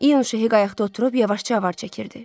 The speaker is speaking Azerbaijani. İyun Şehi qayıqda oturub yavaşca avar çəkirdi.